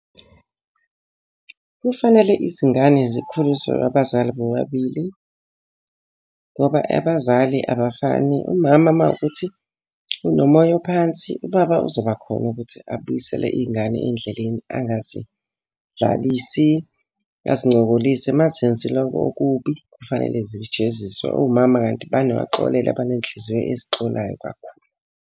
Kufanele izingane zikhuliswe ngabazali bobabili, ngoba abazali abafani. Umama uma kuwukuthi unomoya ophansi, ubaba uzoba khona ukuthi abuyisele iy'ngane endleleni angazidlalisi azincokolise. Uma zenzile okubi kufanele zijeziswe. Omama kanti banoxolelo baney'nhliziyo ezixolayo kakhulu.